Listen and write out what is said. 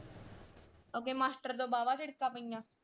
ਓਥੇ ਮਿਸਟਰ ਤੋਂ ਵਾਹਵਾ ਝਿੜਕਾਂ ਪਈਆਂ।